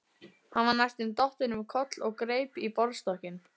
Hann var næstum dottinn um koll og greip í borðstokkinn.